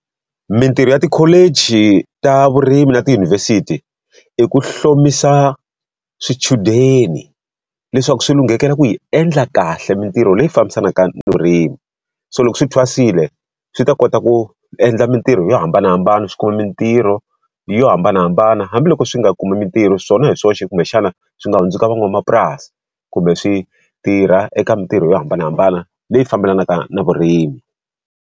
Mitirho ya tikholiji ta vurimi na tiyunivhesiti, i ku hlomisa swichudeni leswaku swi lunghekela ku yi endla kahle mitirho leyi fambisanaka na vurimi. So loko swi thwaserile, swi ta kota ku endla mitirho yo hambanahambana, swi kuma mitirho hi yo hambanahambana. Hambi loko swi nga kumi mitirho swona hi swoxe kumbexana swi nga hundzuka van'wamapurasi, kumbe swi tirha eka mintirho yo hambanahambana leyi fambelanaka na vurimi.